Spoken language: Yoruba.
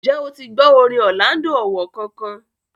ǹjẹ́ o ti gbọ́ orin Orlando Owoh kankan?